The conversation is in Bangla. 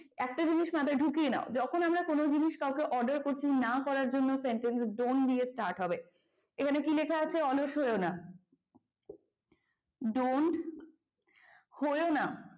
একটা জিনিস মাথায় ঢুকিয়ে নাও যখন আমরা কোন জিনিস কাউকে order করছি না করার জন্য sentence don't দিয়ে start হবে। এখানে কী লেখা আছে অলস হইও না don't হইও না,